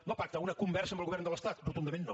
no pacte a una conversa amb el govern de l’estat rotundament no